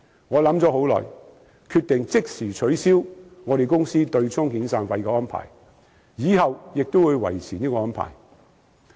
我想了很久，決定即時取消我公司對沖遣散費的安排，以後也會維持這個做法。